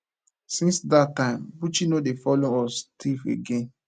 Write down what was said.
since dat time buchi no dey follow us thief again